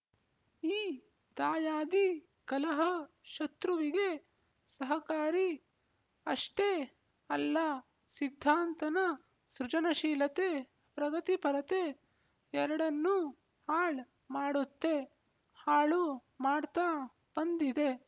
ಈ ದಾಯಾದಿ ಕಲಹ ಶತ್ರುವಿಗೆ ಸಹಕಾರಿ ಅಷ್ಟೇ ಅಲ್ಲ ಸಿದ್ಧಾಂತನ ಸೃಜನಶೀಲತೆ ಪ್ರಗತಿಪರತೆ ಎರಡನ್ನೂ ಹಾಳ್ ಮಾಡುತ್ತೆ ಹಾಳು ಮಾಡ್ತ ಬಂದಿದೆ